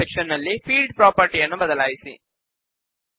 ಕೆಳಗಿನ ಸೆಕ್ಷನ್ ನಲ್ಲಿ ಫೀಲ್ಡ್ ಪ್ರಾಪರ್ಟಿಯನ್ನು ಬದಲಾಯಿಸಿ